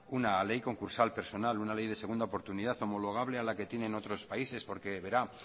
una ley concursal personal una ley de segunda oportunidad homologable a la que tienen otros países porque verá